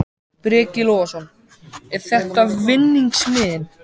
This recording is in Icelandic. Breki Logason: Er þetta vinningsmiðinn?